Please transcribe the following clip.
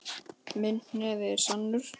Minn hnefi er sannur.